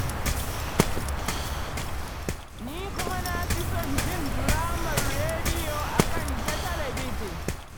Ni kuma na fi son jin diramar rediyo a kan ta talabijin